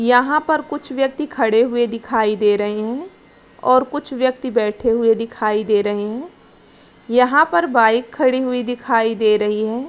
यहाँ पर कुछ व्यक्ति खड़े हुए दिखाई दे रहे हैं और कुछ व्यक्ति बैठे हुए दिखाई दे रहे हैं यहाँ पर बाइक खड़ी हुई दिखाई दे रही है।